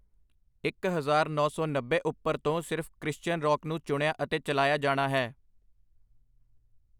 ਇੱਕ ਹਜ਼ਾਰ ਨੌਂ ਸੌ ਨੱਬੇ ਉੱਪਰ ਤੋਂ ਸਿਰਫ਼ ਕ੍ਰਿਸ਼ਚੀਅਨ ਰੌਕ ਨੂੰ ਚੁਣਿਆ ਅਤੇ ਚਲਾਇਆ ਜਾਣਾ ਹੈ।